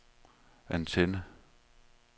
antenne